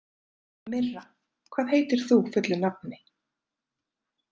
Myrra, hvað heitir þú fullu nafni?